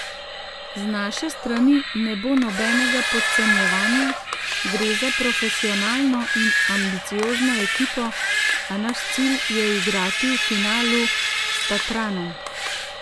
Z naše strani ne bo nobenega podcenjevanja, gre za profesionalno in ambiciozno ekipo, a naš cilj je igrati v finalu s Tatranom.